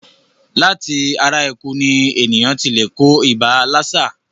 Láti ara eku ní èèyàn ti lè kó ibà lásà.